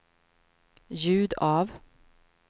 ljud av